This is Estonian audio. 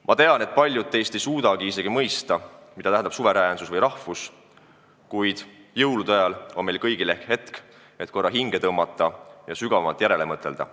Ma tean, et paljud teist ei suuda mõista, mida tähendab suveräänsus või rahvus, kuid jõulude ajal on meil kõigil ehk aega hinge tõmmata ja sügavamalt järele mõtelda.